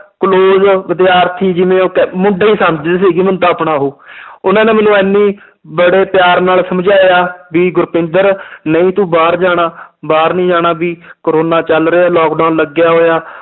Close ਵਿਦਿਆਰਥੀ ਜਿਵੇਂ ਉਹ ਕਹਿ~ ਮੁੰਡਾ ਹੀ ਸਮਝਦੇ ਸੀਗੇ ਮੈਨੂੰ ਤਾਂ ਆਪਣਾ ਉਹ ਉਹਨਾਂ ਨੇ ਮੈਨੂੰ ਇੰਨੀ ਬੜੇ ਪਿਆਰ ਨਾਲ ਸਮਝਾਇਆ ਵੀ ਗੁਰਪਿੰਦਰ ਨਹੀਂ ਤੂੰ ਬਾਹਰ ਜਾਣਾ ਬਾਹਰ ਨੀ ਜਾਣਾ ਵੀ ਕੋਰੋਨਾ ਚੱਲ ਰਿਹਾ ਹੈ lockdown ਲੱਗਿਆ ਹੋਇਆ